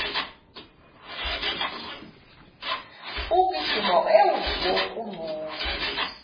ukugijima ewu okungcono